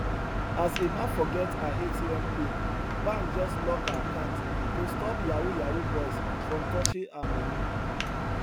as emma forget her atm pin bank just lock her account to stop yahoo yahoo boys from touching her money